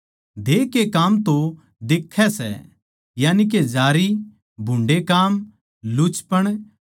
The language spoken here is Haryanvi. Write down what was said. देह के काम तो दिखै सै यानी के जारी भुन्डे़ काम लुचपण